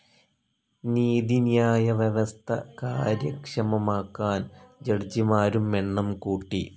നീതിന്യായവ്യവസ്ഥ കാര്യക്ഷമമാക്കാൻ ജഡ്ജിമാരും എണ്ണം കൂട്ടി.